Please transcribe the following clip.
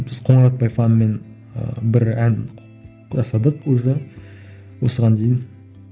біз қоңыратбай фанымен ыыы бір ән құрастырдық уже осыған дейін